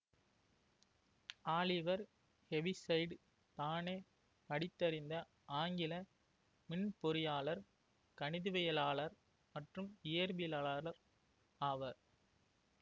Oliver Heaviside தானே படித்தறிந்த ஆங்கில மின்பொறியாளர் கணிதவியலாளர் மற்றும் இயற்பியலாளர் ஆவர்